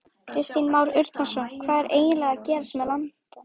Kristján Már Unnarsson: Hvað er eiginlega að gerast með landann?